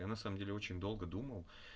я на самом деле очень долго думал